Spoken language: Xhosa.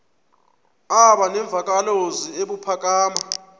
aba nemvakalozwi ebuphakama